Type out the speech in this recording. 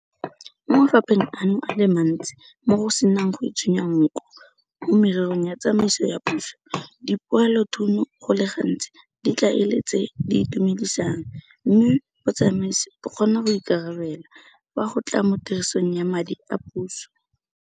Mo mafapheng ano a le mantsi mo go senang go itshunya nko mo mererong ya tsamaiso ya puso, dipoelothuno go le gantsi di tla e le tse di itumedisang mme botsamaisi bo kgona go ikarabela fa go tla mo tirisong ya madi a puso.